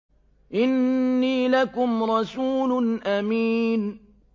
إِنِّي لَكُمْ رَسُولٌ أَمِينٌ